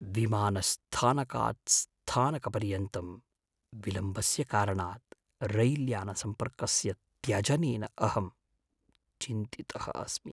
विमानस्थानकात् स्थानकपर्यन्तं विलम्बस्य कारणात् रैल्यानसम्पर्कस्य त्यजनेन अहं चिन्तितः अस्मि।